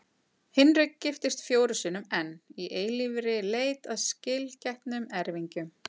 Hinrik giftist fjórum sinnum enn, í eilífri leit að skilgetnum erfingjum.